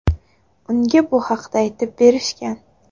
Unga bu haqda aytib berishgan.